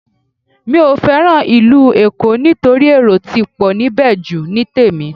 Mi ò fẹ́ràn ìlú Èkó nítorí èrò ti pọ̀ níbẹ̀ jù ní tèmi